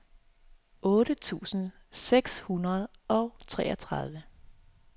otte tusind seks hundrede og treogtredive